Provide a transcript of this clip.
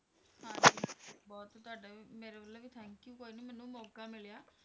ਹਾਂਜੀ ਹਾਂਜੀ ਬਹੁਤ ਤੁਹਾਡਾ ਵੀ ਮੇਰੇ ਵੱਲੋਂ ਵੀ thank you ਕੋਈ ਨੀ ਮੈਨੂੰ ਮੌਕਾ ਮਿਲਿਆ